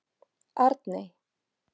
Arney